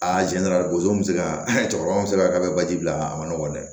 A tiɲɛ yɛrɛ la bozon bɛ se ka cɛkɔrɔba min se ka k'a bɛ baji bila a ma nɔgɔ dɛ